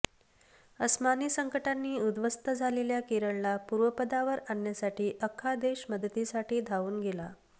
अस्मानी संकटांनी उद्ध्वस्त झालेल्या केरळला पूर्वपदावर आणण्यासाठी आख्खा देश मदतीसाठी धावून गेला